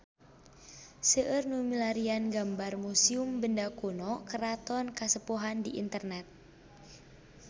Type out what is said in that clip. Seueur nu milarian gambar Museum Benda Kuno Keraton Kasepuhan di internet